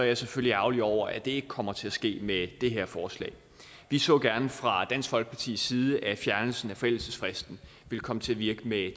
jeg selvfølgelig ærgerlig over at det ikke kommer til at ske med det her forslag vi så gerne fra dansk folkepartis side at fjernelsen af forældelsesfristen ville komme til at virke med